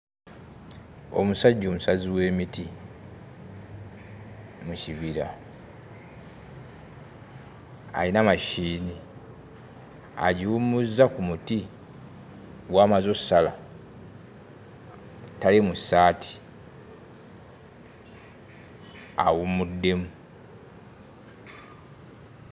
Omusajja omusazi w'emiti mu kibira ayina machine agiwummuzza ku muti gw'amaze ossala tali mu ssaati awummuddemu.